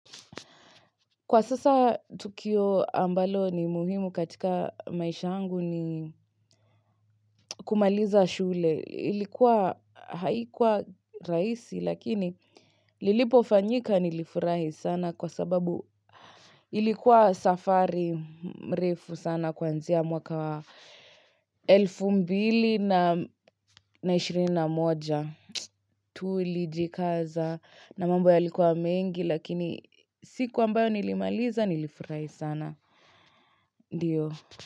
Kwa sasa, Tukio ambalo ni muhimu katika maisha yangu ni kumaliza shule. Ilikuwa haikuwa rahisi lakini lilipofanyika nilifurahi sana kwa sababu ilikuwa safari mrefu sana kuanzia mwaka wa elfu mbili na ishirini na moja. Tulijikaza na mambo yalikuwa mengi lakini siku ambayo nilimaliza nilifurahi sana. Ndiyo.